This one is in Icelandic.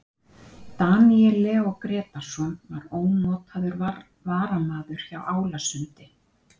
Daníel Leó Grétarsson var ónotaður varamaður hjá Álasundi.